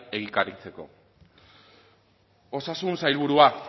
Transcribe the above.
egikaritzeko osasun sailburua